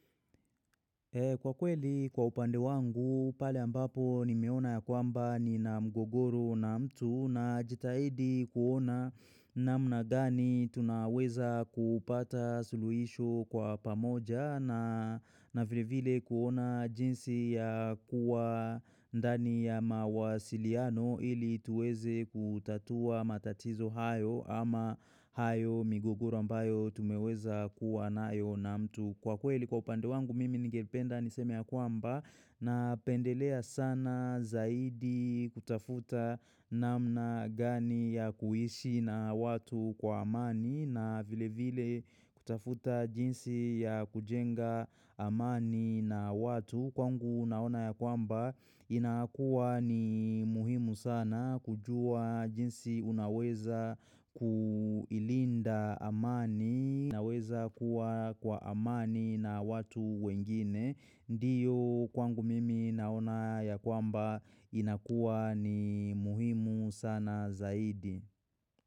Kwa kweli, kwa upande wangu, pale ambapo ni meona ya kwamba nina mgogoro na mtu na jitahidi kuona namna gani tunaweza kupata suluhisho kwa pamoja na na vile vile kuona jinsi ya kuwa ndani ya mawasiliano ili tuweze kutatua matatizo hayo ama hayo migogoro ambayo tumeweza kuwa nayo na mtu. Kwa kweli kwa upande wangu mimi nigependa niseme ya kwamba na pendelea sana zaidi kutafuta namna gani ya kuishi na watu kwa amani na vile vile kutafuta jinsi ya kujenga amani na watu. Kwangu naona ya kwamba inakuwa ni muhimu sana kujua jinsi unaweza kuilinda amani naweza kuwa kwa amani na watu wengine. Ndiyo kwangu mimi naona ya kwamba inakuwa ni muhimu sana zaidi.